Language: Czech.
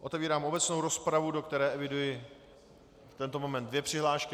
Otevírám obecnou rozpravu, do které eviduji v tento moment dvě přihlášky.